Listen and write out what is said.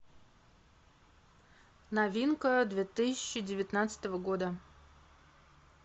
новинка две тысячи девятнадцатого года